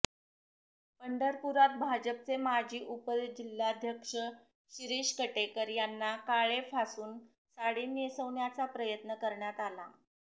पंढरपुरात भाजपचे माजी उपजिल्हाध्यक्ष शिरीष कटेकर यांना काळे फासून साडी नेसवण्याचा प्रयत्न करण्यात आला